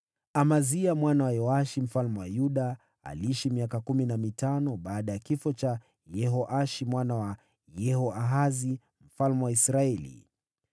Amazia mwana wa Yoashi mfalme wa Yuda aliishi miaka kumi na mitano baada ya kifo cha Yehoashi mwana wa Yehoahazi mfalme wa Israeli.